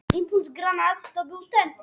Ég man þetta heldur ekki nógu nákvæmlega.